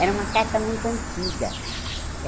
Era uma carta muito antiga.